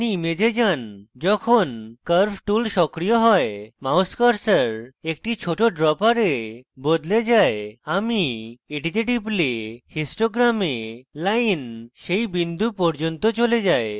আপনি image যান যখন curve tool সক্রিয় you এবং mouse curves active ছোট dropper বদলে যায় আমি এটিতে টিপলে histogram line সেই বিন্দু পর্যন্ত চলে যায়